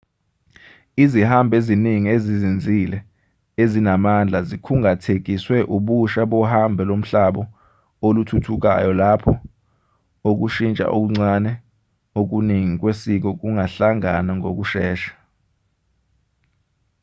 izihambi eziningi ezizinzile ezinamandla zikhungathekiswe ubusha bohambo lomhlabo oluthuthukayo lapho ukushintsha okuncane okuningi kwesiko kungahlangana ngokushesha